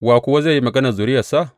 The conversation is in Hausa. Wa kuwa zai yi maganar zuriyarsa?